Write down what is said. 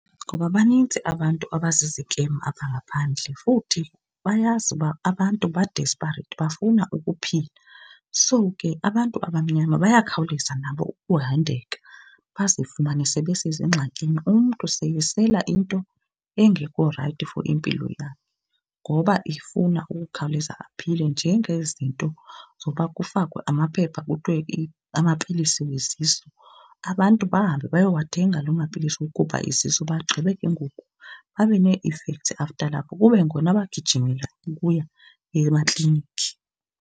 Ngoba banintsi abantu abazizikem apha ngaphandle futhi bayazi uba abantu ba-desperate bafuna ukuphila. So ke abantu abamnyama bayakhawuleza nabo ukuhandeka bazifumane sebesezingxakini, umntu seyesela into engekho rayithi for impilo yakhe ngoba efuna ukukhawuleza aphile. Njengezinto zoba kufakwe amaphepha kuthiwe amapilisi wezisu, abantu bahambe bayowathenga loo mapilisi okukhupha isisu bagqibe ke ngoku babe nee-effects after lapho kube ngona bagijimela ukuya emakliniki.